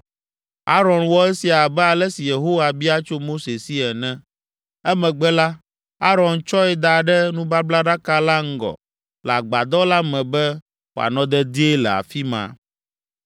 Aron wɔ esia abe ale si Yehowa bia tso Mose si ene. Emegbe la, Aron tsɔe da ɖe nubablaɖaka la ŋgɔ le agbadɔ la me be wòanɔ dedie le afi ma.